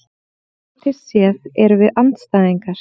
Pólitískt séð erum við andstæðingar